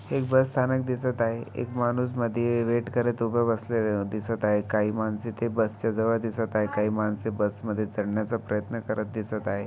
एक बस स्थानक दिसत आहे एक माणूस मधे वेट करत उभे असलेली दिसत आहे काही मानस ते बसच्या जवळ दिसत आहे काही माणसे बस मध्ये चढण्याचा प्रयत्न करत दिसत आहे.